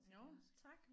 Nåh tak